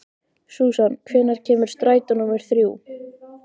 Susan, hvenær kemur strætó númer þrjú?